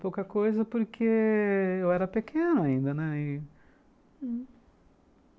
Pouca coisa porque... eu era pequeno ainda, né?